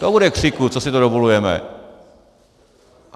To bude křiku, co si to dovolujeme.